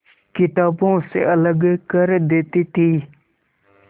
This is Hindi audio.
किताबों से अलग कर देती थी